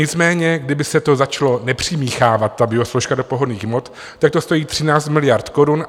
Nicméně kdyby se to začalo nepřimíchávat, ta biosložka, do pohonných hmot, tak to stojí 13 miliard korun.